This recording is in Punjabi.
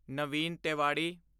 ਨਵੀਂ ਤੇਵਾੜੀ